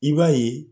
I b'a ye